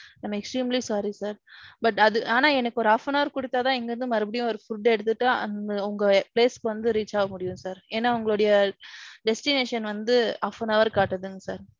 I am extremely sorry sir. But, அது ஆனான் எனக்கு ஒரு half an hour குடுத்தான் இங்க இருந்து மறுபடியும் ஓரு food எடுத்துட்டு அங்க உங்க place க்கு வந்து reach ஆக முடியும் sir. ஏனா உங்களுடைய destination வந்த half an hour காட்டுதுங்க sir.